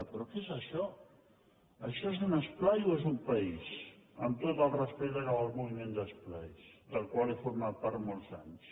però què és això això és un esplai o és un país amb tot el respecte cap al moviment d’esplais del qual he format part molts anys